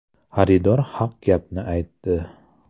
Xaridor haq gapni aytdi.